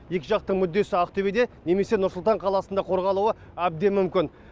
екі жақтың мүддесі ақтөбеде немесе нұр сұлтан қаласында қорғалуы әбден мүмкін